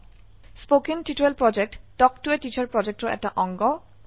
কথন শিক্ষণ প্ৰকল্প তাল্ক ত a টিচাৰ প্ৰকল্পৰ এটা অংগ